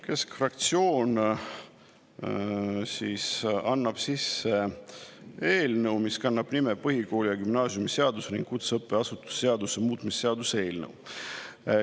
Keskfraktsioon annab sisse eelnõu, mis kannab nime põhikooli- ja gümnaasiumiseaduse ning kutseõppeasutuse seaduse muutmise seaduse eelnõu.